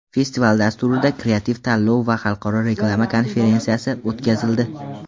Festival dasturida kreativ tanlov va xalqaro reklama konferensiyasi o‘tkazildi.